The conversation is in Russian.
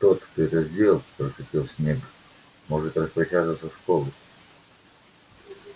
тот кто это сделал прошипел снегг может распрощаться со школой